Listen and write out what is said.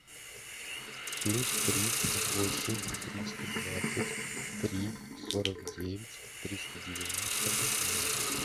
плюс три восемь триста двадцать три сорок девять триста девяносто ноль